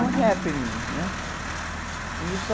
Um Happening, né? E isso...